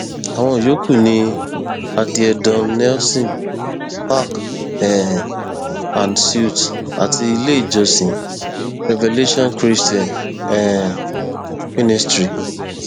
àwọn yòókù ní addie don nelson park um and suites àti ilé ìjọsìn revelation christian um ministry